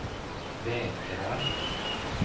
vägrar